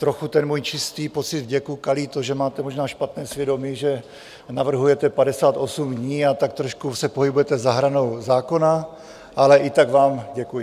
Trochu ten můj čistý pocit vděku kalí to, že máte možná špatné svědomí, že navrhujete 58 dní a tak trošku se pohybujete za hranou zákona, ale i tak vám děkuji.